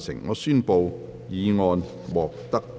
我宣布議案獲得通過。